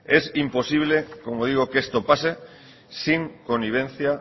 es imposible como digo que esto pase sin connivencia